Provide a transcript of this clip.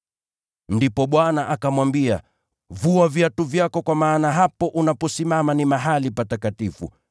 “Ndipo Bwana akamwambia, ‘Vua viatu vyako kwa maana mahali unaposimama ni patakatifu.